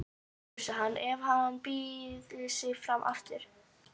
Myndir þú kjósa hann ef hann byði sig fram aftur?